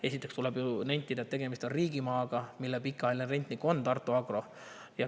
Esiteks tuleb nentida, et tegemist on riigimaaga, mille pikaajaline rentnik on Tartu Agro.